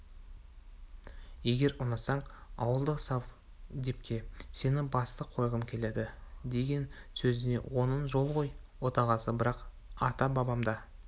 егер ұнатсаң ауылдық совдепке сені бастық қойғым келеді деген сөзіне оның жол ғой отағасы бірақ ата-бабамда